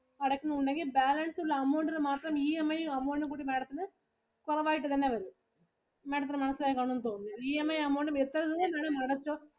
അടയ്ക്കുന്നുണ്ടെങ്കിൽ balance ഉള്ള amount ഇന് മാത്രം EMI ഉം amount ഉം കൂടി madam ത്തിന് കുറവായിട്ടു തന്നെ വരും. Madam ത്തിനു മനസ്സിലായി കാണും എന്ന് തോന്നുന്നു. EMI amount ഉം എത്രേം വരെ അടച്ചോ